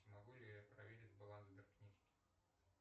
смогу ли я проверить баланс сберкнижки